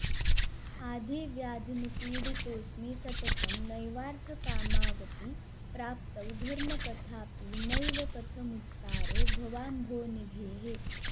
आधिव्याधिनिपीडितोऽस्मि सततं नैवार्थकामावपि प्राप्तौ धर्मकथापि नैव कथमुत्तारो भवाम्भोनिघेः